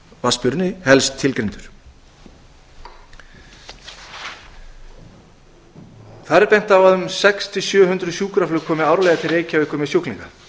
vatnsmýrinni helst tilgreindur þar er bent á að um sex hundruð til sjö hundruð sjúkraflug komi árlega til reykjavíkur með sjúklinga